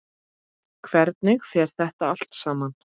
Hvernig fer þetta allt saman?